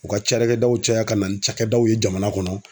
U ka carakɛdaw caya ka na ni cakɛdaw ye jamana kɔnɔ